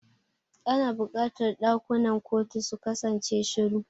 Ana buƙatar ɗakunan kotu su kasance shiru.